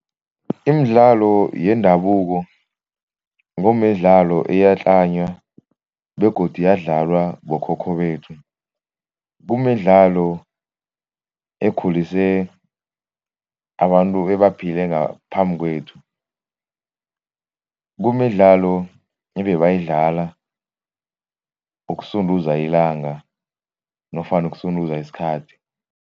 Imidlalo yendabuko kumidlalo eyatlanywa begodu yadlalwa bokhokho bethu. Kumidlalo ekhulise abantu ebaphile ngaphambi kwethu, kumidlalo ebebayidlala ukusunduza ilanga nofana ukusunduza isikhathi.